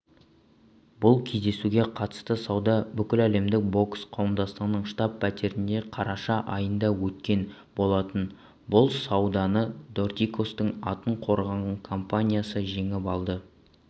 бұл кездесуге қатысты сауда бүкіләлемдік бокс қауымдастығының штаб-пәтерінде қараша айында өткен болатын бұл сауданы дортикостың атын қорғаған компаниясы жеңіп алды